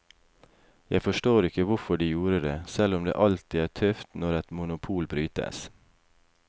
Jeg forstår ikke hvorfor de gjorde det, selv om det alltid er tøft når et monopol brytes.